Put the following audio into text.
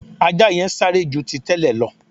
Ajá yẹn sáré ju ti tẹ́lẹ̀ lọ